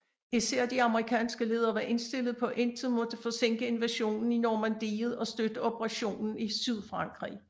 Især de amerikanske ledere var indstillet på at intet måtte forsinke invasionen i Normandiet og støtteoperationen i Sydfrankrig